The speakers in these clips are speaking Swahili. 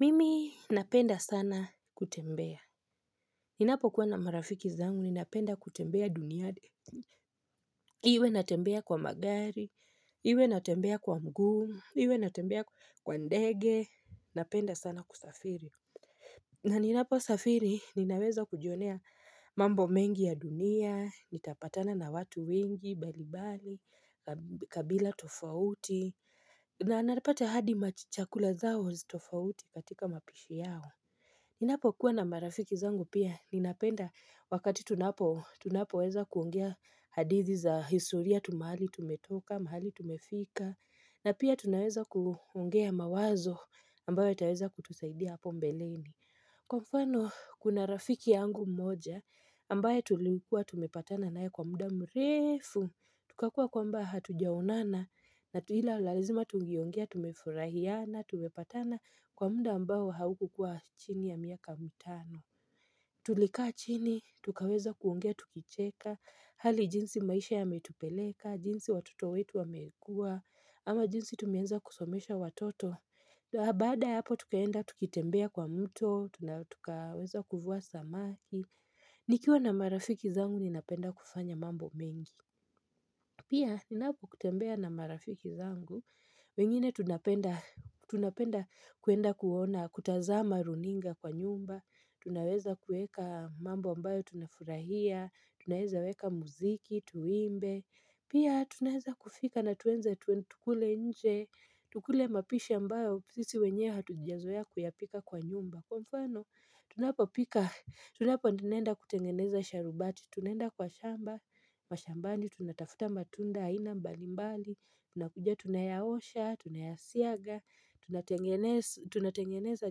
Mimi napenda sana kutembea. Ninapokuwa na marafiki zangu, ninapenda kutembea duniani. Iwe natembea kwa magari, iwe natembea kwa mguu, iwe natembea kwa ndege, napenda sana kusafiri. Naninaposafiri, ninaweza kujionea mambo mengi ya dunia, nitapatana na watu wengi, balibali, kabila tofauti, na napata hadi machakula zao tofauti katika mapishi yao. Ninapo kuwa na marafiki zangu pia ninapenda wakati tunapo tunapoweza kuongea hadithi za historia tu mahali tumetoka mahali tumefika na pia tunaweza kuongea mawazo ambayo itaweza kutusaidia hapo mbeleni. Kwa mfano, kuna rafiki yangu mmoja, ambaye tulikuwa tumepatana naye kwa muda mrefu, tukakuwa kwamba hatujaonana, na ila lazima tungeongea, tumefurahiana, tumepatana kwa muda ambao haukukuwa chini ya miaka mitano. Tulika chini, tukaweza kuongea tukicheka, hali jinsi maisha yametupeleka, jinsi watoto wetu amekua, ama jinsi tumeweza kusomesha watoto. Baada ya hapo tukaenda, tukitembea kwa mto, tukaweza kuvua samaki nikiwa na marafiki zangu, ninapenda kufanya mambo mingi Pia, ninapokutembea na marafiki zangu wengine tunapenda tunapenda kuenda kuona, kutazama runinga kwa nyumba Tunaweza kueka mambo ambayo tunafurahia Tunaweza weka muziki, tuimbe Pia, tunaweza kufika na tuenze tukule nje Tukule mapishi ambayo, sisi wenyewe hatujazoea kuyapika kwa nyumba Kwa mfano, tunapopika, tunapo nenda kutengeneza sharubati Tunaenda kwa shamba, kwa shambani, tunatafuta matunda, aina mbali mbali Tunakuja tunayaosha, tunayasiaga tunatengeneza tunatengeneza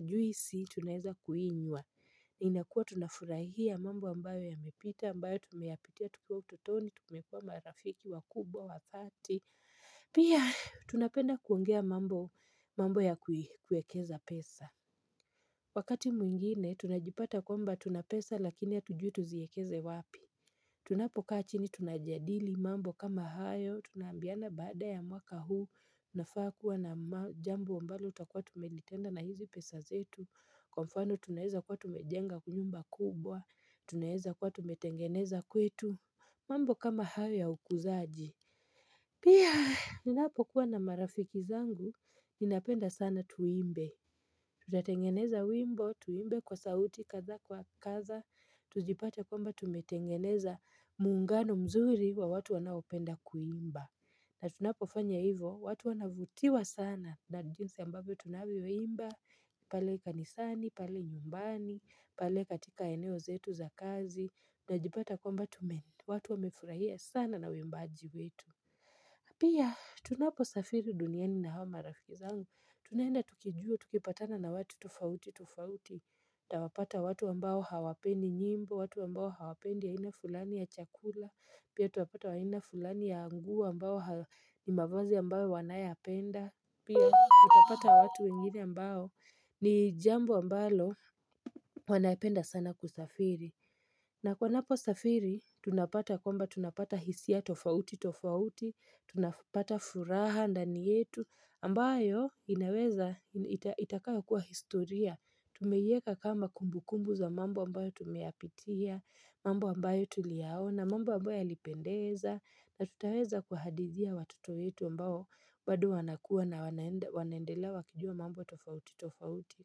juisi, tunaeza kuinywa inakuwa tunafurahia mambo ambayo yamepita, ambayo tumeyapitia tukiwa utotoni Tumekuwa marafiki wakubwa wa dhati Pia tunapenda kuongea mambo ya kuekeza pesa Wakati mwingine tunajipata kwamba tunapesa lakini hatujui tuziekeze wapi Tunapokaa chini tunajadili mambo kama hayo Tunaambiana baada ya mwaka huu unafaa kuwa na jambo ambalo utakuwa tumelitenda na hizi pesa zetu Kwa mfano tunaeza kuwa tumejenga nyumba kubwa Tunaeza kuwa tumetengeneza kwetu mambo kama hayo ya ukuzaji Pia, ninapokuwa na marafiki zangu, ninapenda sana tuimbe. Tutatengeneza wimbo, tuimbe kwa sauti, kaza kwa kaza, tujipate kwamba tumetengeneza muungano mzuri wa watu wanaopenda kuimba. Na tunapofanya hivo, watu wanavutiwa sana na jinsi ambavyo tunavyoimba pale kanisani, pale nyumbani, pale katika eneo zetu za kazi, tunajipata kwamba watu wamefurahia sana na uimbaji wetu. Pia, tunaposafiri duniani na hawa marafiki zangu. Tunaenda tukijua, tukipatana na watu tofauti, tofauti. Tawapata watu ambao hawapendi nyimbo, watu ambao hawapendi aina fulani ya chakula. Pia, tuwapata wa aina fulani ya nguo ambao ni mavazi ambayo wanayapenda. Pia, tutapata watu wengine ambao ni jambo ambalo wanapenda sana kusafiri. Na kwa napo safiri tunapata kwamba tunapata hisia tofauti tofauti tunapata furaha ndani yetu ambayo inaweza itakayo kuwa historia Tumeieka kama kumbu kumbu za mambo ambayo tumeyapitia mambo ambayo tuliyaona mambo ambayo yalipendeza na tutaweza kuhadithia watoto yetu ambao bado wanakua na wanaendelea wakijua mambo tofauti tofauti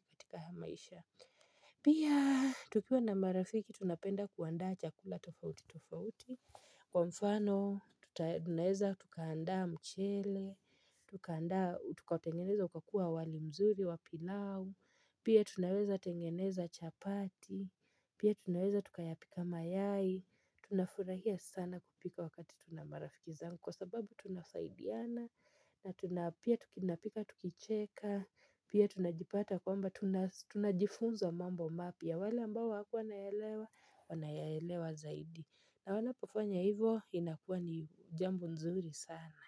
katika haya maisha Pia tukiwa na marafiki tunapenda kuandaa chakula tofauti tofauti. Kwa mfano, tunaweza tukaandaa mchele, tukatengeneza ukakuwa wali mzuri, wa pilau. Pia tunaweza tengeneza chapati. Pia tunaweza tukayapika mayai. Tunafurahia sana kupika wakati tuna marafiki zangu kwa sababu tunasaidiana. Na tuna pia tunapika tukicheka pia tunajipata kwamba tunajifunza mambo mapya wale ambao hawakuwa wanaelewa wanayaelewa zaidi na wanapofanya hivo inakuwa ni jambo nzuri sana.